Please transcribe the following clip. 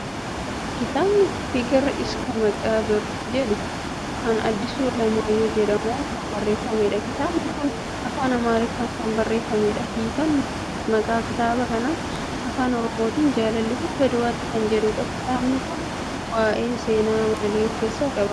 Kitaabni Fiqir Iska Maqaa Bir jedhu nama Addisuu Alamaayyoo jedhamuun kan barreeffamedha. Kitaabni kun afaan Amaariffaan kan barreeffamedha. Hiikaan maqaa kitaaba kanaa afaan Oromootiin jaalalli hanga du'aatti kan jedhudha. Kitaabni kun waa'ee seenaa maalii of keessaa qaba?